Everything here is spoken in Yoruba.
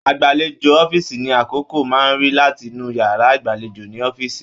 Agbalejo ọ̀fiísí ni akọkọ máa rí latinu yàrá ìgbàlèjo ní ọ̀fiísí.